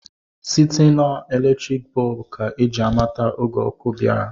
Site na eletriki bọb ka ji amata oge ọkụ bịara.